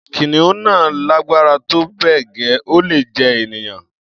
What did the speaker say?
kìnìún náà lágbára tó bẹ́ẹ̀ gẹ́, ó lè jẹ ènìyàn